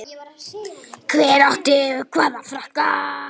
Hver átti hvaða frakka?